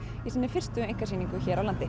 í sinni fyrstu einkasýningu hér á landi